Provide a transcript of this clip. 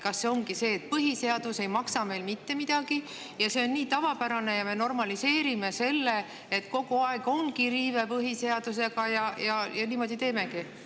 Kas see ongi see, et põhiseadus ei maksa meil mitte midagi, see on nii tavapärane, ja me normaliseerime seda, et kogu aeg ongi põhiseaduse riive, ja niimoodi teemegi?